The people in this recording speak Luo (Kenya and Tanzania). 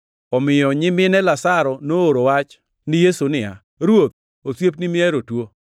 Omiyo nyimine Lazaro nooro wach ni Yesu niya, “Ruoth, osiepni mihero tuo.”